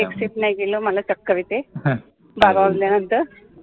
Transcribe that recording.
accept नाय केलं मला चक्कर येते बारा वाजल्यानंतर